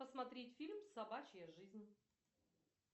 посмотреть фильм собачья жизнь